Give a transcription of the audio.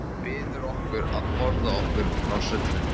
Biður okkur að forða okkur frá sullinu.